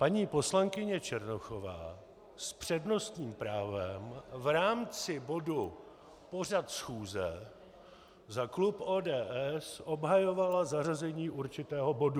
Paní poslankyně Černochová s přednostním právem v rámci bodu pořad schůze za klub ODS obhajovala zařazení určitého bodu.